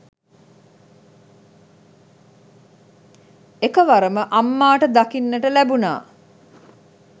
එකවරම අම්මාට දකින්නට ලැබුනා